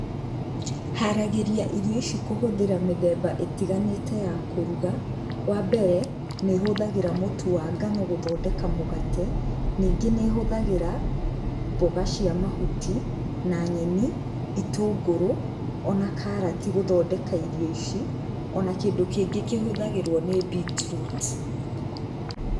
Haragĩria irio kũhũthĩra mĩthemba itiganĩte ya kũruga, wa mbere, nĩhũthagĩra mũtu wa ngano gũthondeka mũgate, ningĩ nĩ hũthagĩra mboga cia mahuti na nyeni, itũngũrũ ona karati gũthondeka irio ici , ona kĩndũ kĩngĩ kĩhũthagĩrwo nĩ Beetroot.